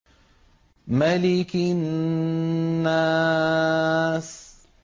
مَلِكِ النَّاسِ